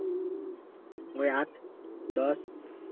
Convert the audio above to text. ঐ আট দশ